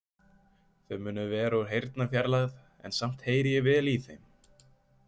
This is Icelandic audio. Þau munu vera úr heyrnarfjarlægð en samt heyri vel ég í þeim.